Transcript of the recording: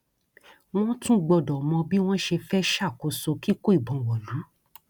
wọn tún gbọdọ mọ bí wọn ṣe fẹẹ ṣàkóso kíkó ìbọn wọlú